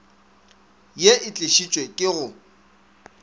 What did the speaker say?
ye e tlišitšwe ke go